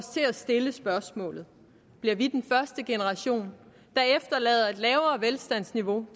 til at stille spørgsmålet bliver vi den første generation der efterlader et lavere velstandsniveau